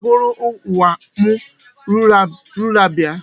Kedụ onye ga-agụrụ nwa m lulabaị?